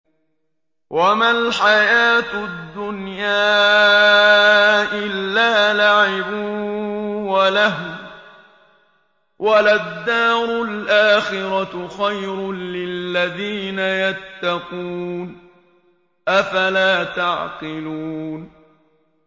وَمَا الْحَيَاةُ الدُّنْيَا إِلَّا لَعِبٌ وَلَهْوٌ ۖ وَلَلدَّارُ الْآخِرَةُ خَيْرٌ لِّلَّذِينَ يَتَّقُونَ ۗ أَفَلَا تَعْقِلُونَ